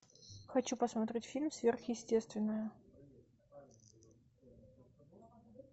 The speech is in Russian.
хочу посмотреть фильм сверхъестественное